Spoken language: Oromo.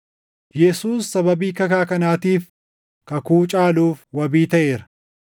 Yesuus sababii kakaa kanaatiif kakuu caaluuf wabii taʼeera.